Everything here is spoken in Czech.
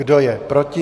Kdo je proti?